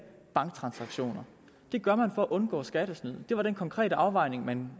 banktransaktioner det gjorde man for at undgå skattesnyd det var den konkrete afvejning man